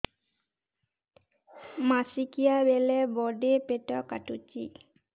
ମାସିକିଆ ବେଳେ ବଡେ ପେଟ କାଟୁଚି